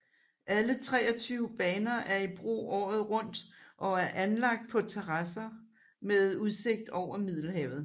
Alle 23 baner er i brug året rundt og er anlagt på terrasser med udsigt over Middelhavet